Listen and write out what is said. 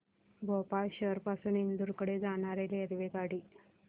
भोपाळ शहर पासून इंदूर कडे जाणारी रेल्वेगाडी